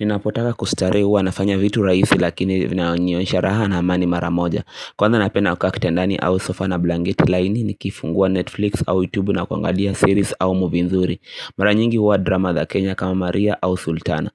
Ninapotaka kustarehe hua nafanya vitu rahisi lakini vinaonyonsha raha na amani maramoja Kwanza napenda kukaa kitendani au sofa na blanket laini ni kifungua Netflix au YouTube na kuangalia series au movie nzuri Mara nyingi hua drama the Kenya kama Maria au Sultana